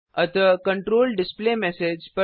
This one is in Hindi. अतः कंट्रोल डिस्प्लेमेसेज